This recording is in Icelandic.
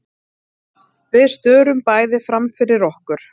Við störum bæði framfyrir okkur.